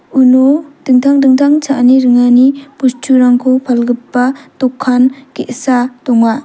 uno dingtang dingtang cha·ani ringani bosturangko palgipa dokan ge·sa donga.